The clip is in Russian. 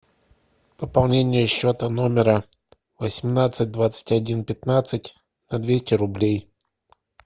пополнение счета номера восемнадцать двадцать один пятнадцать на двести рублей